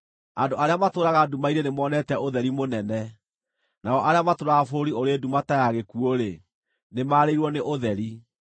Andũ arĩa matũũraga nduma-inĩ nĩmonete ũtheri mũnene; nao arĩa matũũraga bũrũri ũrĩ nduma ta ya gĩkuũ-rĩ, nĩmarĩirwo nĩ ũtheri.